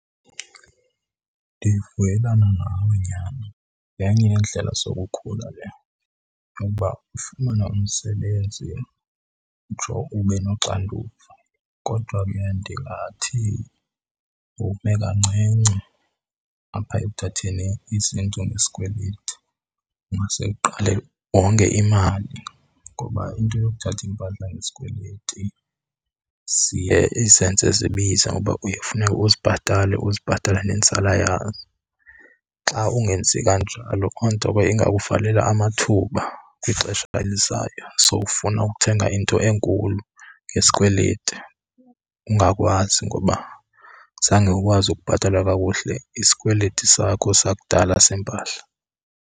Ndivuyelana nawe nyhani. Yenye yeendlela zokukhula le ukuba ufumane umsebenzi utsho ube noxanduva, kodwa ke ndingathi ume kancinci apha ekuthatheni izinto ngesikweliti. Ungase uqale wonge imali ngoba into yokuthatha iimpahla ngesikweleti siye izenze zibize, ngoba uye ufuneke uzibhatale uzibhatale nenzala yazo. Xa ungenzi kanjalo loo nto ke ingakuvalela amathuba kwixesha elizayo sowufuna ukuthenga into enkulu ngesikweleti ungakwazi, ngoba zange ukwazi ukubhatala kakuhle isikweleti sakho sakudala sempahla.